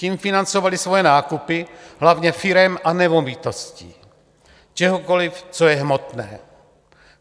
Tím financovali svoje nákupy hlavně firem a nemovitostí, čehokoliv, co je hmotné.